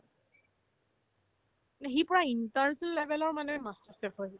সি পূৰা international level ৰ মানে master chef হয় সি